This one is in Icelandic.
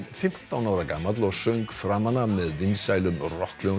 fimmtán ára gamall og söng framan af með vinsælum